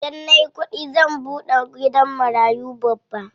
Idan nayi kuɗi zan buɗe gidan marayu babba.